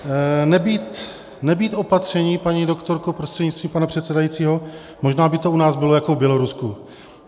Nebýt opatření, paní doktorko prostřednictvím pana předsedajícího, možná by to u nás bylo jako v Bělorusku.